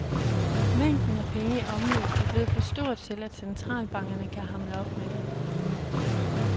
Mængden af penge i omløb er blevet for stor til, at centralbankerne kan hamle op med det.